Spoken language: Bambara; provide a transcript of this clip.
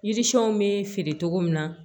Yirisiɛnw bɛ feere cogo min na